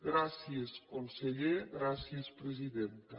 gràcies conseller gràcies presidenta